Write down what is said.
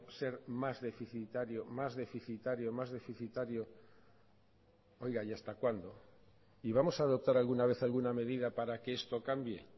ser más deficitario más deficitario más deficitario oiga y hasta cuándo y vamos a adoptar alguna vez alguna medida para que esto cambie